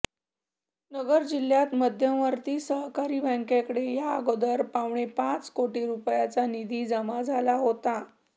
नगर जिल्हा मध्यवर्ती सहकारी बॅंकेकडे याअगोदर पावणे पाच कोटी रुपयांचा निधी जमा झाला होता